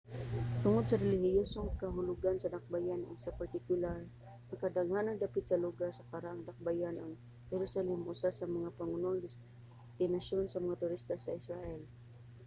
tungod sa relihiyosong kahulugan sa dakbayan ug sa partikular ang kadaghanang dapit sa lugar sa karaang dakbayan ang jerusalem usa sa mga pangunang destinasyon sa mga turista sa israel